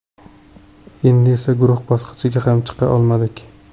Endi esa guruh bosqichiga ham chiqa olmadik.